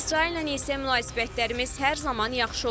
İsraillə isə münasibətlərimiz hər zaman yaxşı olub.